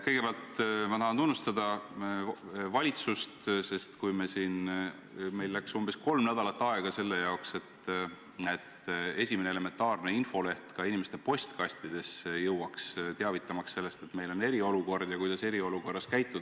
Kõigepealt ma tahan tunnustada valitsust: meil kulus umbes kolm nädalat aega, et inimeste postkastidesse jõuaks esimene elementaarne infoleht, teavitamaks sellest, et meil on eriolukord ja kuidas eriolukorras käituda.